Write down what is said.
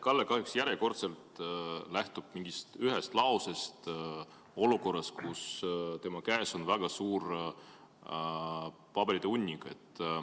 Kalle kahjuks järjekordselt lähtub mingist ühest lausest olukorras, kus tema käes on väga suur paberite hunnik.